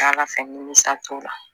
Ala fɛ nimisa t'o la